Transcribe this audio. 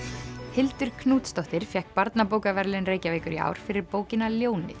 Hildur Knútsdóttir fékk barnabókaverðlaun Reykjavíkur í ár fyrir bókina ljónið